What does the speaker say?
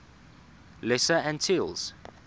lesser antilles